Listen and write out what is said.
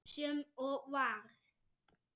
Sem og varð.